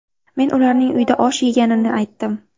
Men ularning uyda osh yeganini aytdim.